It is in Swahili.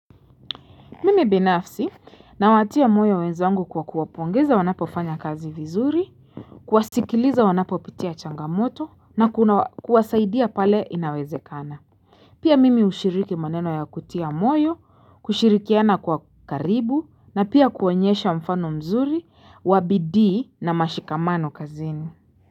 Mimi binafsi, nawatia moyo wenzangu kwa kuwapongeza wanapofanya kazi vizuri, kuwasikiliza wanapopitia changamoto na kuwasaidia pale inawezekana. Pia mimi ushiriki maneno ya kutia moyo, kushirikiana kwa karibu na pia kuonyesha mfano mzuri, wa bidii na mashikamano kazini.